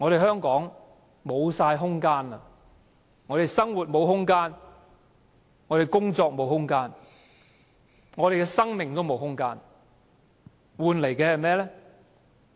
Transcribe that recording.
香港已經沒有空間，生活沒有空間，工作沒有空間，生命也沒有空間，換來的是甚麼？